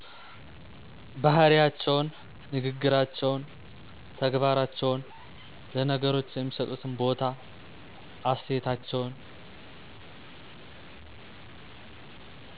ባህሪያቸውን፣ ንግግራቸውን፣ ተግባራቸውን፣ ለነገሮች የሚሠጡትን ቦታ፣ አስተያየታቸውን